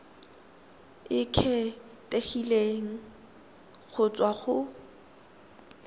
e kgethegileng go tswa go